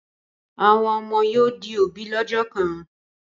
Àwọn ọmọ yóò di òbí lọ́jọ́ kan.